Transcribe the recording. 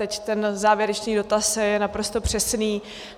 Teď ten závěrečný dotaz je naprosto přesný.